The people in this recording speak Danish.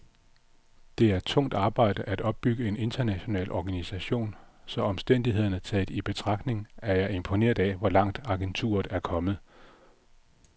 Det er tungt arbejde at opbygge en international organisation, så omstændighederne taget i betragtning er jeg imponeret af, hvor langt agenturet er kommet.